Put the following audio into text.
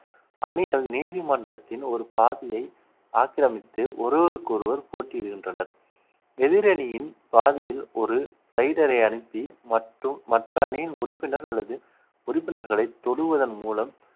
அணிகள் நீதிமன்றத்தின் ஒரு பாதியை ஆக்கிரமித்து ஒருவருக்கொருவர் போட்டியிடுகின்றனர் எதிரணியின் பாதியில் ஒரு raider ஐ அனுப்பி மற்றும் மற்ற அணியின் உறுப்பினர் அல்லது உறுப்பினர்களை தொடுவதன் மூலம்